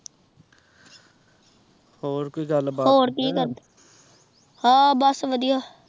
ਹੋਰ ਕੋਈ ਗੱਲ ਬਾਤ